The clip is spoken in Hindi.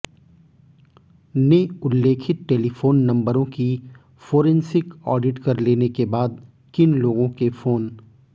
ने उल्लेखित टेलीफोन नंबरों की फोरेंसिक ऑडिट कर लेने क बाद किन लोगों के फोन